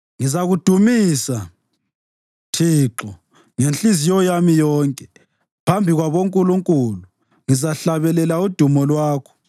Ngizakudumisa, Thixo, ngenhliziyo yami yonke; phambi kwabo “nkulunkulu” ngizahlabelela udumo lwakho.